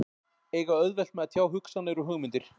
Eiga auðvelt með að tjá hugsanir og hugmyndir.